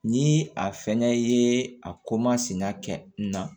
Ni a fɛnɛ ye a ko masina kɛ n na